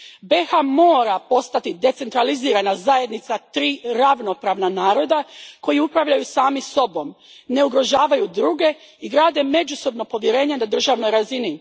BiH mora postati decentralizirana zajednica triju ravnopravnih naroda koji upravljaju sami sobom, ne ugrožavaju druge i grade međusobno povjerenje na državnoj razini.